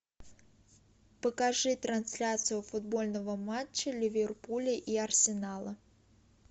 покажи трансляцию футбольного матча ливерпуля и арсенала